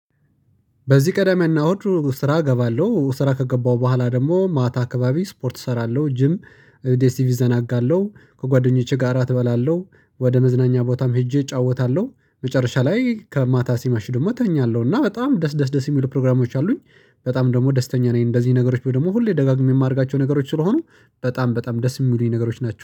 በዚህ ቅዳሜ እና እሁድ ስራ እገባለሁ ስራ ከገባሁ በኋላ ደግሞ ማታ አካባቢ ስፖርት እሰራለሁ ጂም ቲቪ እዘናጋለሁ። ከጓደኞቼ ጋራ እበላለሁ ወደ መዝናኛ ቦታም ሄጄ እጫወታለሁ። መጨረሻ ላይ ከማታ ሲመሽ ደግሞ እተኛለሁ እና በጣም ደስ ደስ ደስ የሚሉ ፕሮግራሞች አሉኝ። በጣም ደግሞ ደስተኛ ነኝ እንደዚህ ነገሮች ብዬ ደግሞ ሁሌ ደጋግሜ የማደርጋቸው ነገሮች ስለሆኑ በጣም በጣም ደስ የሚሉኝ ነገሮች ናቸው